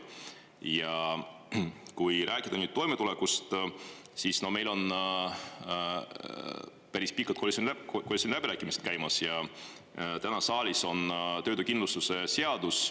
Ja kui rääkida nüüd toimetulekust, siis meil on päris pikalt koalitsiooniläbirääkimised käimas ja täna saalis on töötuskindlustuse seadus.